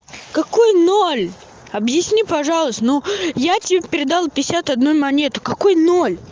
какой ноль объясни пожалуйста ну я тебе передал пятьдесят одну монету какой но